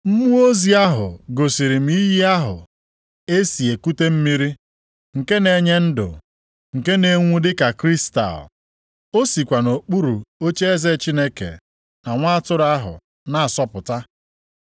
Mmụọ ozi ahụ gosiri m iyi ahụ e si ekute mmiri nke na-enye ndụ nke na-enwu dịka kristal. O sikwa nʼokpuru ocheeze Chineke na Nwa atụrụ ahụ na-asọpụta,